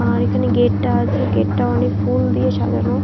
আর এখানে গেটটা আছে। গেটটা অনেক ফুল দিয়ে সাজানো।